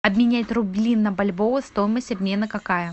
обменять рубли на бальбоа стоимость обмена какая